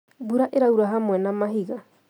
Mbura ĩraura hamwe na mahiga